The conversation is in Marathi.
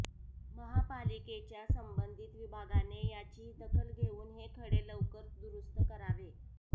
महापालिकेच्या संबंधित विभागाने याची दखल घेऊन हे खडे लवकर दुरूस्त करावे